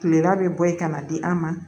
Kilela bɛ bɔ yen ka na di an ma